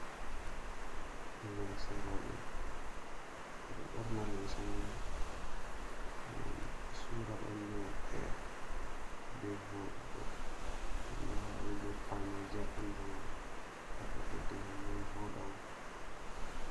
Limse roɓe, ɓe ɗo ɓorna limse mai ngam ɓe sura ɓandu maɓɓe be vodugo, nda’i be pawneja ɓandu man, pat bee ɓeddi ngam ɗan voda on.